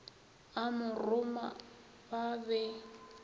a mo roma ba be